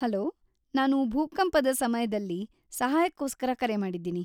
Hello, ನಾನು ಭೂಕಂಪದ ಸಮಯ್ದಲ್ಲಿ ಸಹಾಯಕ್ಕೋಸ್ಕರ ಕರೆ ಮಾಡಿದ್ದೀನಿ.